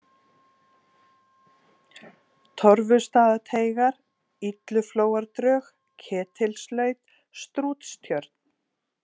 Torfustaðateigar, Illuflóadrög, Ketilslaut, Strútstjörn